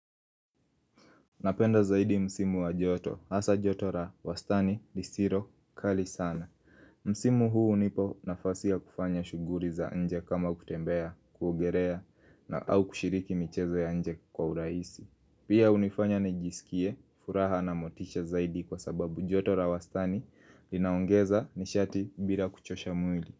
Napenda zaidi msimu wa joto, hasa joto ra wastani risiro kali sana Msimu huu nipo nafasia kufanya shuguri za nje kama kutembea, kuogerea na au kushiriki michezo ya nje kwa uraisi Pia unifanya ni jisikie, furaha na motisha zaidi kwa sababu joto ra wastani linaongeza ni shati bila kuchosha mwili.